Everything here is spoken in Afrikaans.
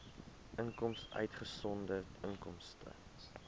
inkomste uitgesonderd inkomste